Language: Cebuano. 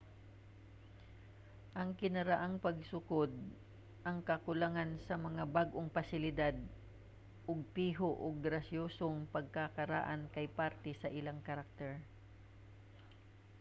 ang kinaraang pagsukod ang kakulangan sa mga bag-ong pasilidad ug piho ug grasyosong pagkakaraan kay parte sa ilang karakter